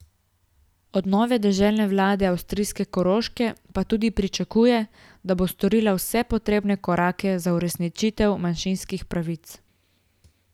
Od nove deželne vlade avstrijske Koroške pa tudi pričakuje, da bo storila vse potrebne korake za uresničitev manjšinskih pravic.